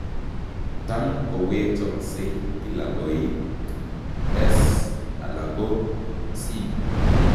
Tam koweechoksei kila koik S alako ko C